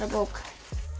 bók